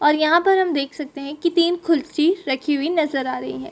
और यहाँ पर हम देख सकते है की तीन कुर्सी रखी हुई नजर आ रही है।